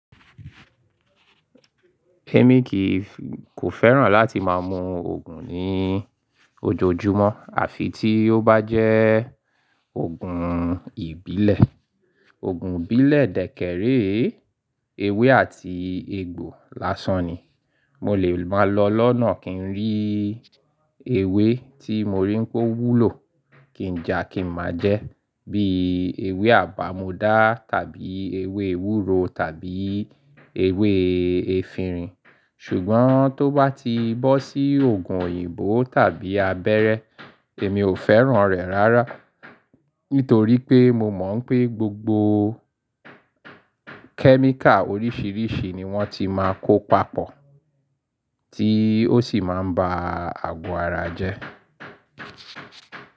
Èmi kìí kò fẹ́ràn láti máa mu oogùn ní ojoojúmọ́ àfi tí ó bá jẹ́ oogùn ìbílẹ̀. Òogùn ìbílẹ̀ dẹ́ kẹree, ewé àti egbò lásan ni. Mo lè máa lọ lọ́nà kí n rí ewé tí mo rí pé ó wúlò, kí n ja kí n máa jẹ́ bí ewé àbàmodà tàbí ewé ewúro tàbí ewé efinrin. Ṣùgbọ́n tó bá ti bọ́ sí oogùn òyìnbó tàbí abẹ́rẹ́ èmi ò fẹ́ràn rẹ̀ rárá. Nítorí pé mo mọ̀ wipé gbogbo kẹ́míkà oríṣiríṣi ni wọ́n ti máa kó papọ̀ tí ó sì ma ń ba àgọ́ ara jẹ́.